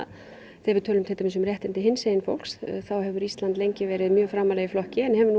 þegar við tölum til dæmis um réttindi hinsegin fólks þá hefur Ísland verið framarlega í flokki en hefur nú